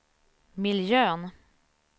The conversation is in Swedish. miljön